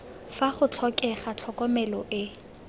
fa go tlhokega tlhokomelo e